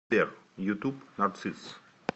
сбер ютуб нарцисс